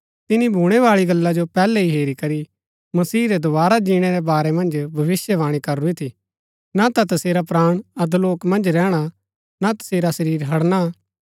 तिनी भूणैबाळी गल्ला जो पैहलै ही हेरी करी मसीह रै दोवारा जीणै रै वारै मन्ज भविष्‍यवाणी करूरी थी ना ता तसेरा प्राण अधोलोक मन्ज रैहणा ना तसेरा शरीर हड़णा